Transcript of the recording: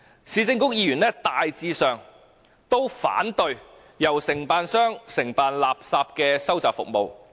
市政局議員大致上都反對由承辦商承辦垃圾收集服務"。